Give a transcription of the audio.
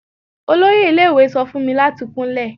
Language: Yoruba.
Oloye ile-iwe sọ fun mi lati kunlẹ